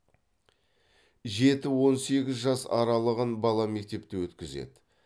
жеті он сегіз жас аралығын бала мектепте өткізеді